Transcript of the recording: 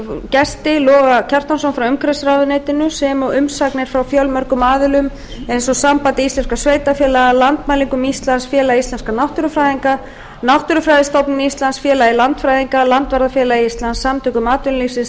gesti loga kjartansson frá umhverfisráðuneytinu sem og umsagnir frá fjölmörgum aðilum eins og sambandi íslenskum sveitarfélaga landmælingum íslands félagi íslenskum náttúrufræðinga náttúrufræðistofnun íslands félagi landfræðinga landvarðafélagi íslands samtaka atvinnulífsins